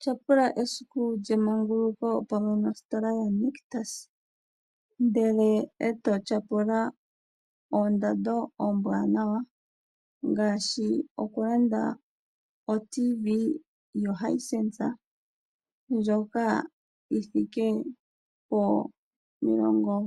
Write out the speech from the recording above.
Tyapula esiku lyemanguluko pamwe nositola yedhina Nictus ndele eto tyapula oondando ombwaanawa ngaashi oku landa oTV yoHisense ndjoka yuunene wo